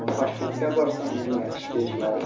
Toshkentga borsam menga ish berishmadi.